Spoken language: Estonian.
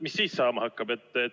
Mis siis saama hakkab?